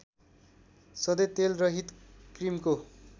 सधैँ तेलरहित क्रिमको